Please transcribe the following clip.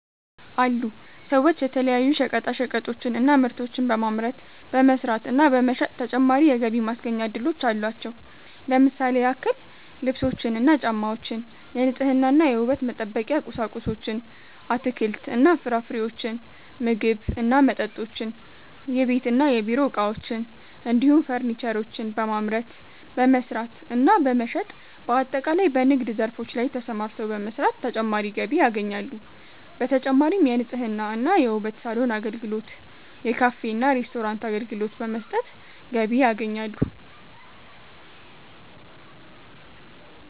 አሉ ሰዎች የተለያዩ ሸቀጣሸቀጦችን እና ምርቶችን በማምረት፣ በመስራት እና በመሸጥ ተጨማሪ የገቢ ማስገኛ እድሎች አሏቸው። ለምሳሌ ያክል ልብሶችን እና ጫማወችን፣ የንጽህና እና የውበት መጠበቂያ ቁሳቁሶችን፣ አትክልት እና ፍራፍሬዎችን፣ ምግብ እና መጠጦችን፣ የቤት እና የቢሮ እቃዎችን እንዲሁም ፈርኒቸሮችን በማምረት፣ በመስራት እና በመሸጥ በአጠቃላይ በንግድ ዘርፎች ላይ ተሰማርተው በመስራት ተጨማሪ ገቢ ያገኛሉ። በተጨማሪም የንጽህና እና የውበት ሳሎን አገልግሎት፣ የካፌ እና ሬስቶራንት አገልግሎት በመስጠት ገቢ ያገኛሉ።